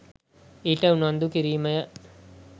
ඊට උනන්දු කිරීමය.